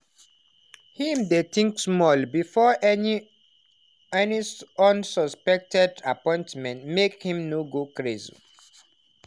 him dey think small before any any unsuspected appointment, make him no go craze